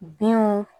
Binw